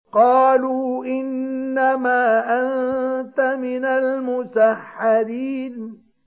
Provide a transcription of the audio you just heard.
قَالُوا إِنَّمَا أَنتَ مِنَ الْمُسَحَّرِينَ